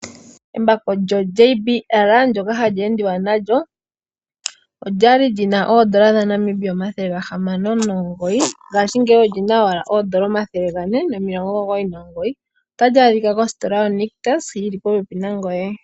Embako lyo JBL ndoka hali endiwa nalyo, okwali lina oondola N$609 ngaashingeyi olina oondola N$499. Otali adhika mostola yo Nictus yili popepi nangoye.